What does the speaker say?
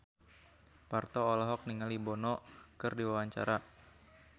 Parto olohok ningali Bono keur diwawancara